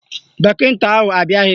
Dọkịta ahụ abịaghị